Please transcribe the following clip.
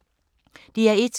DR1